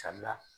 Sabula